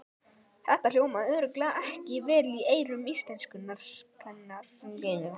Þetta hljómaði örugglega ekki vel í eyrum íslenskukennarans!